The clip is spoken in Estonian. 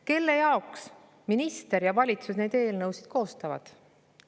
Kelle jaoks minister ja valitsus neid eelnõusid koostavad?